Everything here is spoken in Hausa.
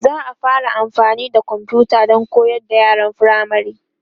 za'a fara amfani da komfuta Dan koyar da yaran firamare